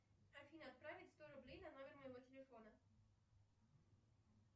афина отправить сто рублей на номер моего телефона